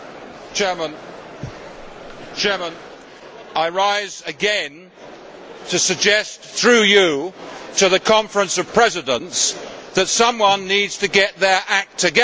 Mr President, I rise again to suggest through you to the Conference of Presidents that someone needs to get their act together.